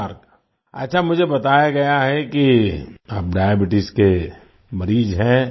नमस्कार अच्छा मुझे बताया गया है कि आप डायबीट्स के मरीज हैं